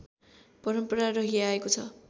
परम्परा रहिआएको छ